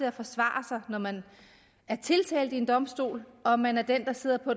at forsvare sig når man er tiltalt ved en domstol og man er den der sidder på